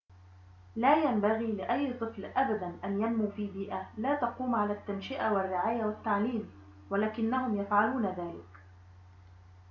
لا ينبغي لأي طفل أبداً أن ينمو في بيئة لا تقوم على التنشئة والرعاية والتعليم ولكنهم يفعلون ذلك